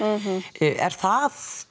er það